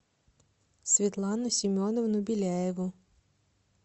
светлану семеновну беляеву